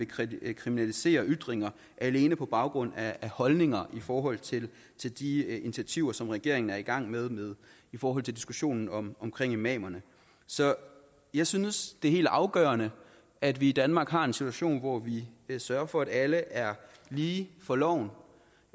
vil kriminalisere ytringer alene på baggrund af holdninger i forhold til til de initiativer som regeringen er i gang med i forhold til diskussionen om imamerne så jeg synes det er helt afgørende at vi i danmark har en situation hvor vi sørger for at alle er lige for loven